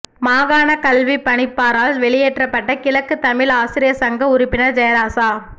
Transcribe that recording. மாகாணக் கல்விப் பணிப்பாரால் வெளியேற்றப்பட்ட கிழக்கு தமிழ் ஆசிரிய சங்க உறுப்பினர் ஜெயராசா